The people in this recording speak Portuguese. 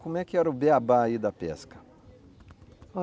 Como é que era o beabá aí da pesca?